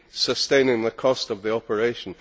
sustaining the cost of the operation.